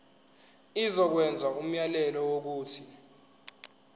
izokwenza umyalelo wokuthi